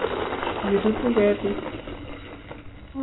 kirutu ketik